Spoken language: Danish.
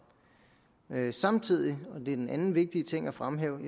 samtidig og det er den anden vigtige ting at fremhæve